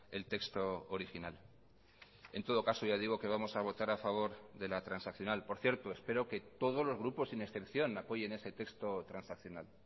el texto original en todo caso ya digo que vamos a votar a favor de la transaccional por cierto espero que todos los grupos sin excepción apoyen ese texto transaccional